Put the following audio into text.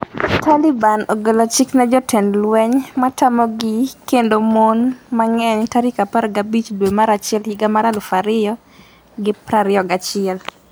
Taliban ogolo chik ne jotend lweny matamogi kendo mon mang'eny tarik 15 dwe mar achiel higa mar 2021